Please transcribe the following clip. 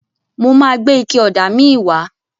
Mo máa gbé ike ọ̀dà míì wá.